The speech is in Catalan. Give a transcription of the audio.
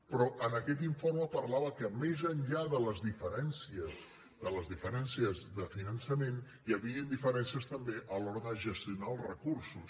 però en aquest informe parlava que més enllà de les diferències de finançament hi havien diferències també a l’hora de gestionar els recursos